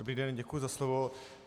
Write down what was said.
Dobrý den, děkuji za slovo.